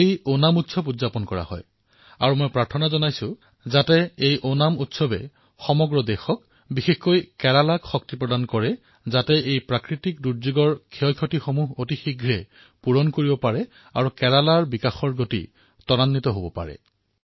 কালি ওনমৰ উৎসৱ আছিল মই প্ৰাৰ্থনা কৰিম যে ওনমৰ এই পৰ্বই দেশক বিশেষকৈ কেৰালাক শক্তি প্ৰদান কৰক যাতে তেওঁলোকে এই বিপদৰ পৰা সোনকালে উদ্ধাৰ হৈ বিকাশৰ যাত্ৰাত চামিল হব পাৰে